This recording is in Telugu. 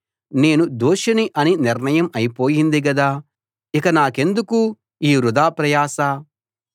నేను దోషిని అని నిర్ణయం అయిపొయింది గదా ఇక నాకెందుకు ఈ వృథా ప్రయాస